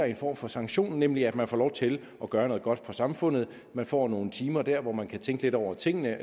en form for sanktion nemlig at man får lov til at gøre noget godt for samfundet man får nogle timer dér hvor man kan tænke lidt over tingene